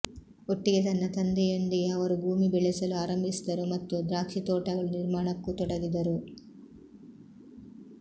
ಒಟ್ಟಿಗೆ ತನ್ನ ತಂದೆಯೊಂದಿಗೆ ಅವರು ಭೂಮಿ ಬೆಳೆಸಲು ಆರಂಭಿಸಿದರು ಮತ್ತು ದ್ರಾಕ್ಷಿತೋಟಗಳು ನಿರ್ಮಾಣಕ್ಕೂ ತೊಡಗಿದ್ದರು